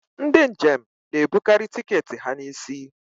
ndị njem na-ebukarị tiketi ha n'isi